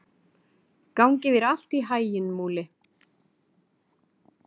Gangi þér allt í haginn, Múli.